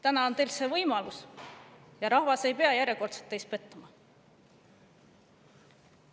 Täna on teil see võimalus, et rahvas ei peaks järjekordselt teis pettuma.